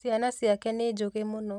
Ciana ciake nĩ njũgĩ mũno